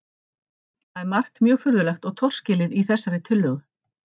Það er margt mjög furðulegt og torskilið í þessari tillögu.